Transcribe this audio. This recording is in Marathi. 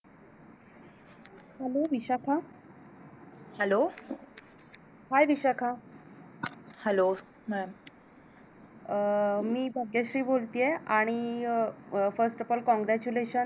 Hello Vishakha HelloHii Vishakha Hello अं मी भाग्यश्री बोलतीये आणि First of all congrulation